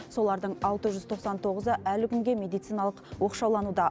солардың алты жүз тоқсан тоғызы әлі күнге медициналық оқшаулануда